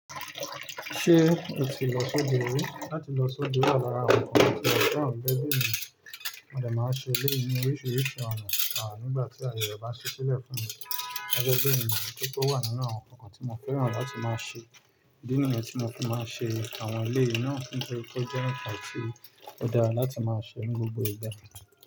Ṣé o ti lọ sóde ri? Láti lọ sóde wa lára àwọn nǹkan tí mo fẹ́ràn lẹ́gbẹ̀ẹ́ mi, mo dẹ̀ máa ń ṣe eleyii ni oríṣiríṣi ọ̀nà nígbà tí aye re bá ṣí sílẹ̀ fún mi gẹ́ge bẹ̀ẹ́ ni otun wà nínú àwọn nǹkan tí mo fẹ́ràn láti máa ṣe. Nígbà tí mo bá máa ṣe àwọn ilé yìí náà kí n tó jẹ́ ǹkan tí ó dára láti máa ṣe ní gbogbo ìgbà.